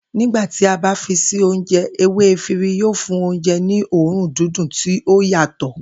Nígbà tí a bá fi sí oúnje̩, ewé efiri yóò fún oúnje̩ ní òórùn dídùn tí ó yàtò̩